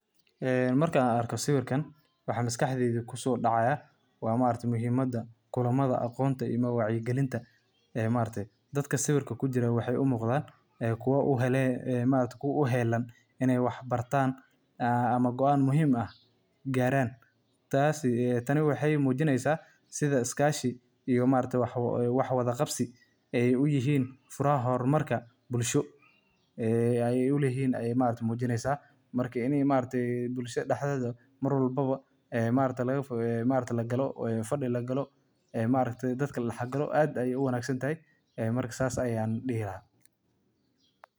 Ee marka arkoh sawirkan waxa masqaxdeeyda kusodacaya wa maargtahay muhimada kulamada iyo aqoon wacyi kalinta ee maargtay dadka sawirka kujirih waxa muqdah kuwa u helin inay waxbartan ee amah goaan muhim aah, garan taas Tani waxaymujineysah setha iskashi iyo waxwalaqabsai Aya u yahin furaha hormarka, bulsho Aya uleyahin Aya mujineysah, marka ini maargtahay bulshobdaxdetha marwalbo laga fugeeyah maargtahay faadi lagaloh Aya maaragtay dadka ladaxkaloh aad Aya u wangsantahay taas Aya dehi lahay.